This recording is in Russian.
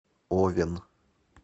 овен